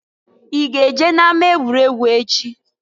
I ga-eje na-ama-egwuregwu echi?